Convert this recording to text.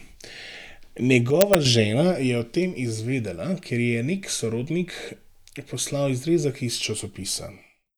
Njegova žena je o tem izvedela, ker ji je neki sorodnik poslal izrezek iz časopisa.